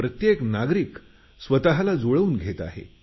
प्रत्येक नागरिक स्वतला जुळवून घेत आहे